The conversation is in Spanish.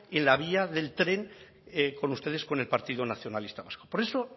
en la vía del tren con ustedes con el partido nacionalista vasco por eso